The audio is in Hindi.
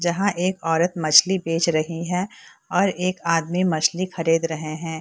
जहाँ एक औरत मछली बेच रही है और एक आदमी मछली खरीद रहे हैं।